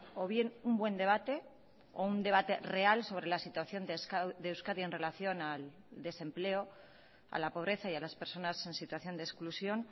o bien un buen debate o un debate real sobre la situación de euskadi en relación al desempleo a la pobreza y a las personas en situación de exclusión